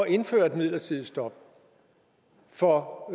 indføre et midlertidigt stop for